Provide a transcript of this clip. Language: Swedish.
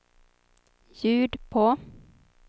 ljud på